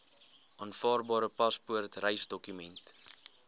aanvaarbare paspoort reisdokument